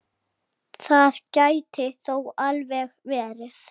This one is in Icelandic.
Það gæti þó alveg verið.